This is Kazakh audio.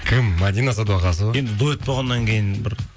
кім мәдина садуақасова енді дуэт болғаннан кейін бір